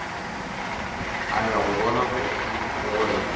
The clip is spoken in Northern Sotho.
a ya go bona gore